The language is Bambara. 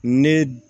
Ne d